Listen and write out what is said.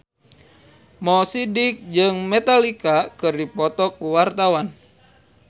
Mo Sidik jeung Metallica keur dipoto ku wartawan